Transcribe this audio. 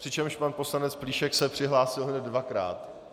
přičemž pan poslanec Plíšek se přihlásil hned dvakrát.